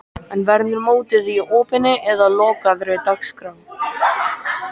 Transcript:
En verður mótið í opinni eða lokaðri dagskrá?